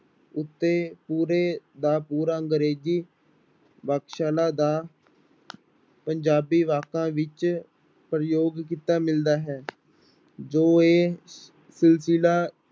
ਉੱਤੇ ਪੂਰੇ ਦਾ ਪੂਰਾ ਅੰਗਰੇਜ਼ੀ ਸ਼ਾਲਾ ਦਾ ਪੰਜਾਬੀ ਵਾਕਾਂ ਵਿੱਚ ਪ੍ਰਯੋਗ ਕੀਤਾ ਮਿਲਦਾ ਹੈ ਜੋ ਇਹ